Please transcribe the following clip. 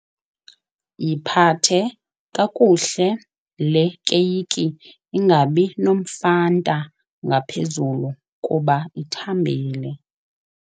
Yiphathe kakuhle le keyiki ingabi nomfanta ngaphezulu kuba ithambile.